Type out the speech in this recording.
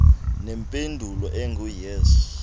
nempendulo engu yes